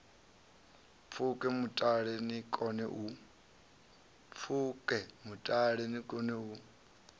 pfuke mutala ni kone u